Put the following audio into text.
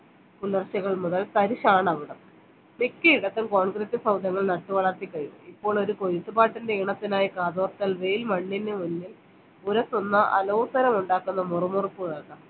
പുലർച്ചകൾ മുതൽ തരിഷാണവിടം മിക്കയിടത്തും നട്ടുവളർത്തി കഴിഞ്ഞു ഇപ്പോൾ ഒരു കൊയ്ത്ത് പാട്ടിൻറെ ഈണത്തിനായി കാതോർത്താൽ വെയിൽ മണ്ണിനു മുമ്പിൽ ഉരസുന്ന അലോസരം ഉണ്ടാക്കുന്ന മുറുമുറുപ്പ് കേക്കാം